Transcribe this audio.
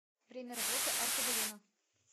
время работы аркобалено